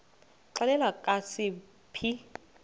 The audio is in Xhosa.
xelel kabs iphi